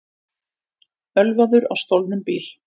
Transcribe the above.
Ölvaður á stolnum bíl